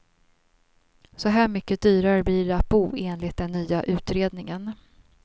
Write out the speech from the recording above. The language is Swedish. Så här mycket dyrare blir det att bo enligt den nya utredningen.